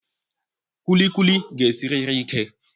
Kulikuli ga-esiriri ike